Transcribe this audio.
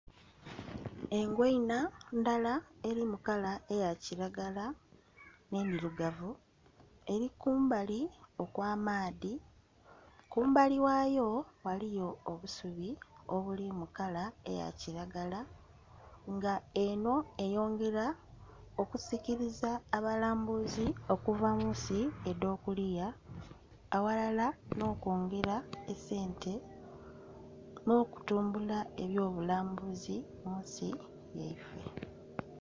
Engoina ndala eri mukala eya kilagala ne'ndhirugavu eri kumbali okwa amaadhi, kumbali ghayo ghaligho obusubi obuli mu kala eya kilagala nga eno eyongera oku sikiriza abalambuzi okuva munsi edho kuliya aghalal no kwongera esente no'tumbula ebyo bbulambuzi munsi yaife.